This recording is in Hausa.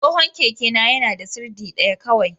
Tsohon kekena yana da sirdi ɗaya kawai.